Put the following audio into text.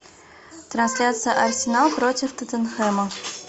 трансляция арсенал против тоттенхэма